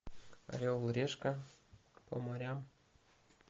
орел и решка по морям